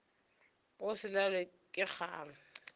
go se lalwe ke kgang